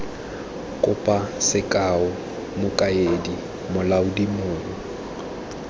kopo sekao mokaedi molaodi mong